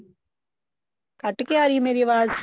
ਕੱਟ ਕੇ ਆ ਰਹੀ ਆ ਮੇਰੀ ਆਵਾਜ਼